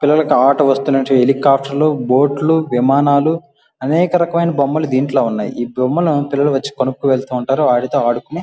పిల్లలకు ఆట వస్తువుల నుంచి హెలికాఫ్టర్లు బోట్లు విమానాలు అనేక రకాలైన బొమ్మల దీంట్లో ఉన్నాయి. ఈ బొమ్మలు పిల్లలు వచ్చి కొనుక్కొని వెళ్తూ ఉంటారు వాటితో ఆడుకొని --